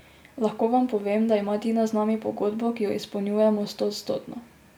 Lahko vam povem, da ima Tina z nami pogodbo, ki jo izpolnjujemo stoodstotno.